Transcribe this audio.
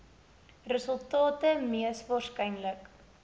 resultate mees waarskynlik